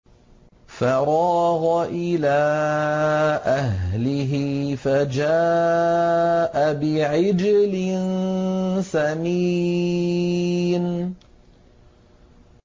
فَرَاغَ إِلَىٰ أَهْلِهِ فَجَاءَ بِعِجْلٍ سَمِينٍ